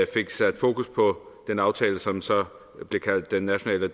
fik sat fokus på den aftale som så blev kaldt den nationale